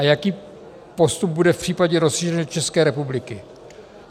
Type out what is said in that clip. A jaký postup bude v případě rozšíření České republiky?